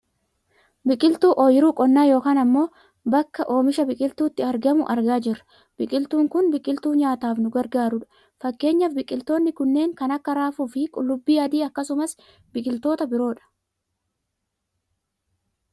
Biqiltuu ooyiruu qonnaa yookaan ammoo baa oomisha biqiltuutti argamu argaa jirra. Biqiltuun kun biqiltuu nyaataaf nu gargaarudha . fakkeenyaaf biqiltoonni kunneen kan akka raafuufi qullubbii adii akkasumas biqiltoota biroo dha